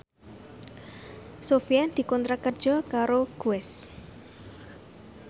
Sofyan dikontrak kerja karo Guess